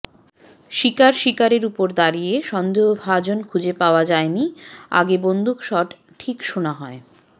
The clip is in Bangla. শিকার শিকারের উপর দাঁড়িয়ে সন্দেহভাজন খুঁজে পাওয়া যায় নি আগে বন্দুক শট ঠিক শোনা হয়